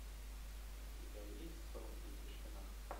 у тебя есть сон и тишина